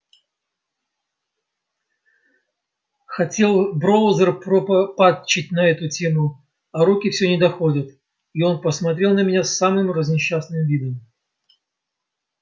хотел броузер пропатчить на эту тему а руки все не доходят и он посмотрел на меня с самым разнесчастным видом